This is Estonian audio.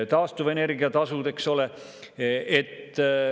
Taastuvenergia tasud, eks ole.